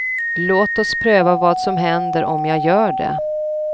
Låt oss pröva vad som händer om jag gör det.